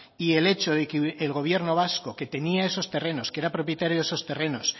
y el hecho de que el gobierno vasco que tenía eso terrenos que era propietario de esos terrenos